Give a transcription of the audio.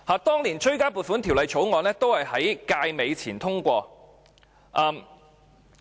當年的追加撥款條例草案也在該屆結束前通過。